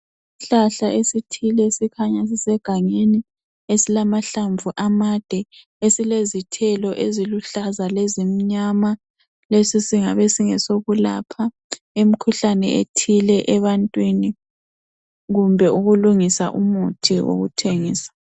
Isihlahla esithile esikhanya sisegangeni esilamahlamvu amade esilezithelo eziluhlaza lezimnyama lesisingabe singesokulapha imikhuhlane ethile ebantwini kumbe ukulungisa umuthi wokuthengisa.